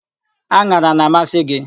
An̄ara a na-amasị gị?